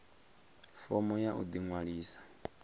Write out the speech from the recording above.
fomo ya u ḓi ṅwalisa